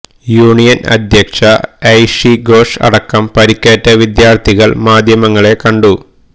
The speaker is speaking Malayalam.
യൂണിയൻ അധ്യക്ഷ ഐഷി ഘോഷ് അടക്കം പരിക്കേറ്റ വിദ്യാർത്ഥികൾ മാധ്യമങ്ങളെ കണ്ടു